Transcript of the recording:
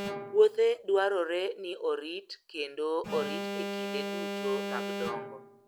Puothe dwarore ni orit kendo orit e kinde duto mag dongo.